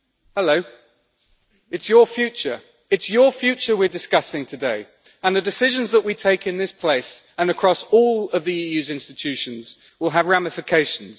Hello, it is your future we're discussing today, and the decisions that we take in this place and across all of the EU's institutions will have ramifications.